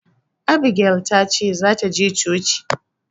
Abigel ta ce za ta je coci.